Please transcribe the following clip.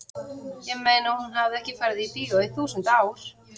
ég meina hún hafði ekki farið í bíó í þúsund ár.